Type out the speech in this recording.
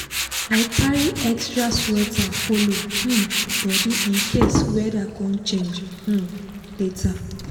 i carry extra sweater follow um body in case weda con change um later.